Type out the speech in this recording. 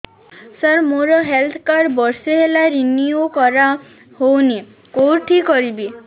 ସାର ମୋର health card ବର୍ଷେ ହେଲା ରିନିଓ କରା ହଉନି କଉଠି କରିବି